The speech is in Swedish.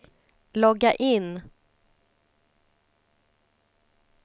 logga in